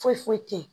Foyi foyi foyi te yen